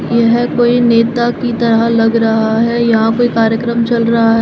यह कोई नेता की तरह लग रहा है यहां पे कार्यक्रम चल रहा है।